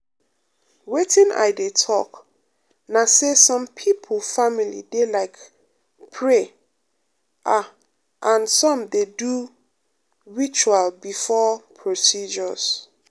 wetin i dey talk na say some people family dey like pray ah and some dey do ritual before um procedures.